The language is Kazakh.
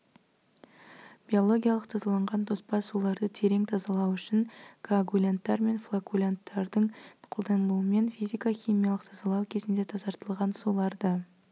биологиялық тазаланған тоспа суларды терең тазалау үшін коагулянттар мен флокулянттардың қолданылуымен физика-химиялық тазалау кезінде тазартылған суларды